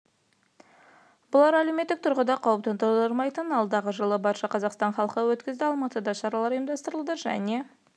бұлар әлеуметтік тұрғыда қауіп тудырмайтындар алдағы жылы барша қазақстан халқы өткізеді алматыда да шаралар ұйымдастырылады және